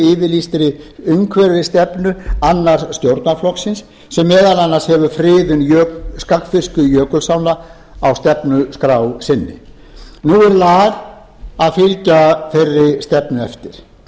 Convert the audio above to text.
yfirlýstri umhverfisstefnu annars stjórnarflokksins sem meðal annars hefur friðun skagfirsku jökulsánna á stefnuskrá sinni nú er lag að fylgja þeirri stefnu eftir mikil